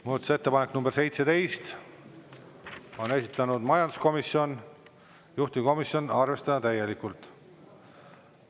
Muudatusettepanek nr 17, on esitanud majanduskomisjon, juhtivkomisjon: arvestada täielikult.